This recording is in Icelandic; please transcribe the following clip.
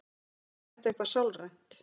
Er þetta eitthvað sálrænt?